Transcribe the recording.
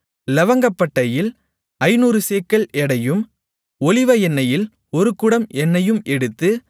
இலவங்கப்பட்டையில் ஐந்நூறு சேக்கல் எடையையும் ஒலிவ எண்ணெயில் ஒரு குடம் எண்ணெயையும் எடுத்து